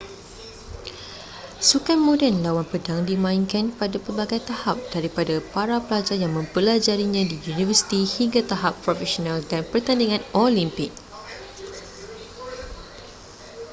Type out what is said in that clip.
sukan moden lawan pedang dimainkan pada pelbagai tahap daripada para pelajar yang mempelajarinya di universiti hingga tahap profesional dan pertandingan olimpik